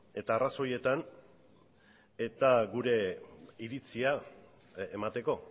eta arrazoietan eta gure iritzia emateko